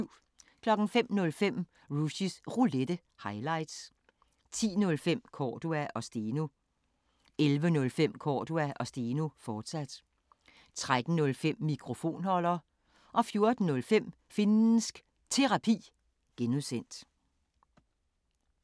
05:05: Rushys Roulette – highlights 10:05: Cordua & Steno 11:05: Cordua & Steno, fortsat 13:05: Mikrofonholder 14:05: Finnsk Terapi (G)